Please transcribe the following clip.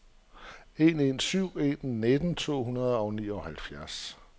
en en syv en nitten to hundrede og nioghalvfems